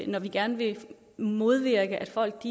når vi gerne vil modvirke at folk